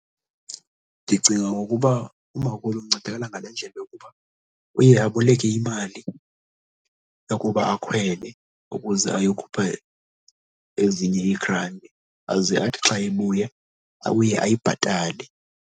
Ndicinga ukuba umakhulu uncedakala ngale ndlela yokuba uye aboleke imali yokuba akhwele ukuze ayokhupha ezinye iigranti aze athi xa ebuya, abuye ayibhatale.